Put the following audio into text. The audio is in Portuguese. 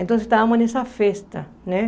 Então estávamos nessa festa, né?